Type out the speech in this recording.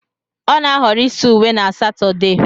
Ọ na-ahọrọ ịsa uwe na Satode